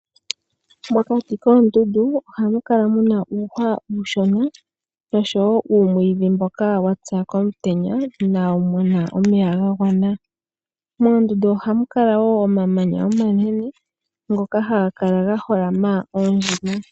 Mokati koondundu ohamu kala muna uuhwa uushona osho wo uumwiidhi mboka wa pya komutenya inaawumona omeya ga gwana. Moondundu ohamu kala wo omamanya omanene ngoka hagakala ga holama oondjima.